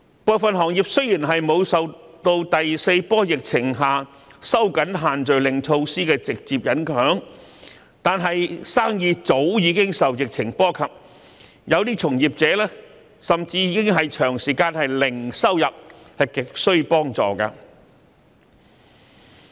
部分行業雖沒有受第四波疫情下收緊限聚令措施的直接影響，但生意早已受到疫情波及，有些從業員甚至已長時間零收入，亟需援助。